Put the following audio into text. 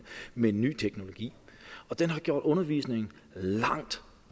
med ny teknologi og den har gjort undervisningen langt